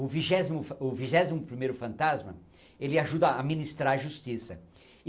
O vigésimo fan o vigésimo primeiro fantasma, ele ajuda a ministrar a justiça.